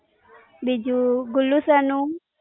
બીજું, ગુલ્લું સરનું?